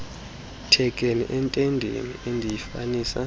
thekenee entendeni endiyifanisa